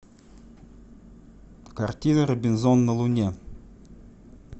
картина робинзон на луне